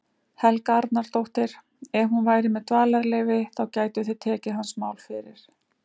Helga Arnardóttir: Ef hún væri með dvalarleyfi, þá gætu þið tekið hans mál fyrir?